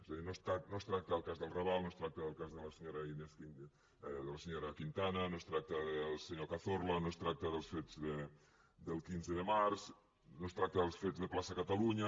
és a dir no es tracta del cas del raval no es tracta del cas de la senyora quintana no es tracta del senyor cazorla no es tracta dels fets del quinze de març no es tracta dels fets de plaça catalunya